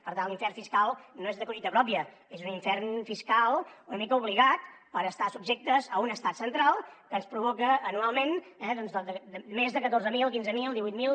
per tant l’infern fiscal no és de collita pròpia és un infern fiscal una mica obligat per estar subjectes a un estat central que ens provoca anualment eh més de catorze mil quinze mil divuit mil